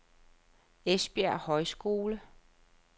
Esbjerg Højskole